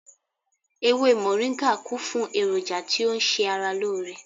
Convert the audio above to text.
Ewé moringa kún fún èròjà tí ó ń ṣe ara lóore